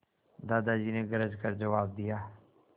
दादाजी ने गरज कर जवाब दिया